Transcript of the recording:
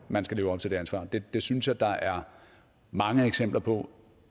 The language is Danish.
man skal leve op til det ansvar det synes jeg der er mange eksempler på